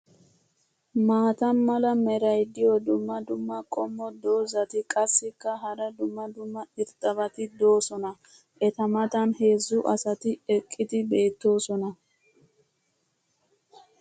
maata mala meray diyo dumma dumma qommo dozzati qassikka hara dumma dumma irxxabati doosona. eta matan heezzu asati eqqidi beetoosona.